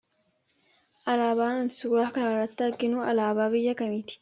Alaabaan suuraa kanarratti arginuu alaabaa biyya kamiiti?